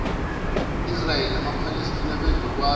israyeli namaphalestina bezokwazi